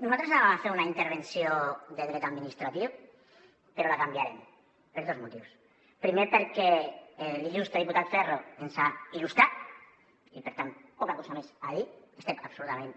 nosaltres volíem fer una intervenció de dret administratiu però la canviarem per dos motius primer perquè l’il·lustre diputat ferro ens ha illustrat i per tant poca cosa més a dir hi estem absolutament